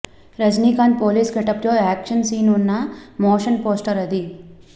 Rajinikanth police getup లో action scene ఉన్న motion poster అది